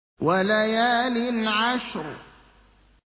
وَلَيَالٍ عَشْرٍ